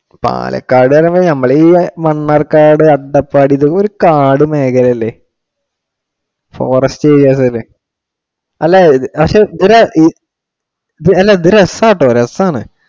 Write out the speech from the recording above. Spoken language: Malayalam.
പാലക്കാടു നമ്മൾ ഈ മണ്ണാർക്കാട്, അട്ടപ്പാടി ഇതൊക്കെ ഒരു കാടു മേഖല അല്ലെ? forest areas അല്ലെ? അല്ല പക്ഷെ ഇവര് ഇത് രസാ കേട്ടോ രസാണ്.